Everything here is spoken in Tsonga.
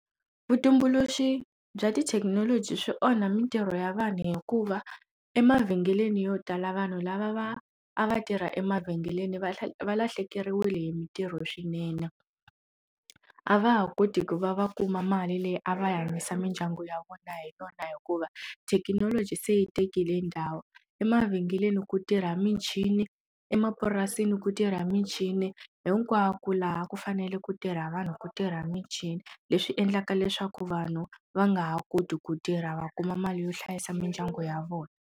Vutumbuluxi bya tithekinoloji swi onha mitirho ya vanhu hikuva emavhengeleni yo tala vanhu lava va a va tirha emavhengeleni va valahlekeriwile hi mitirho swinene a va ha koti ku va va kuma mali leyi a va hanyisa mindyangu ya vona hi yona hikuva thekinoloji se yi tekile ndhawu emavhengeleni ku tirha michini emapurasini ku tirha michini hinkwako laha ku fanele ku tirha vanhu ku tirha michini leswi endlaka leswaku vanhu va nga ha koti ku tirha va kuma mali yo hlayisa mindyangu ya vona.